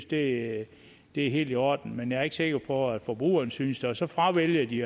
det er helt i orden men jeg er ikke sikker på at forbrugerne synes det og så fravælger de